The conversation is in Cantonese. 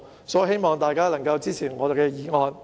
所以，我希望大家支持我提出的議案。